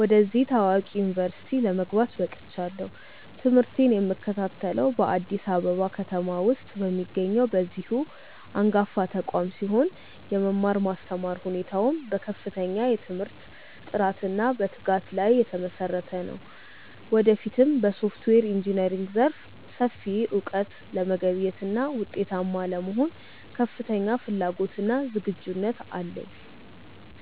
ወደዚህ ታዋቂ ዩኒቨርሲቲ ለመግባት በቅቻለሁ። ትምህርቴን የምከታተለው በአዲስ አበባ ከተማ ውስጥ በሚገኘው በዚሁ አንጋፋ ተቋም ሲሆን፣ የመማር ማስተማር ሁኔታውም በከፍተኛ የትምህርት ጥራትና በትጋት ላይ የተመሰረተ ነው። ወደፊትም በሶፍትዌር ኢንጂነሪንግ ዘርፍ ሰፊ እውቀት ለመገብየትና ውጤታማ ለመሆን ከፍተኛ ፍላጎትና ዝግጁነት አለኝ።